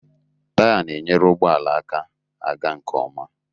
Taya na-enyere ụgbọala aka aga nke ọma